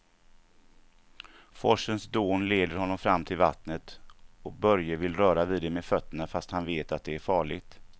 Forsens dån leder honom fram till vattnet och Börje vill röra vid det med fötterna, fast han vet att det är farligt.